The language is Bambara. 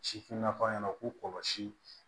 Sifinnakaw ɲɛna k'u kɔlɔsi